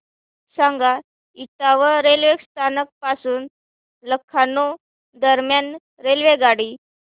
सांगा इटावा रेल्वे स्थानक पासून लखनौ दरम्यान रेल्वेगाडी